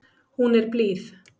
Hún er blíð.